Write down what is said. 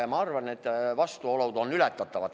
Ja ma arvan, et vastuolud on ületatavad.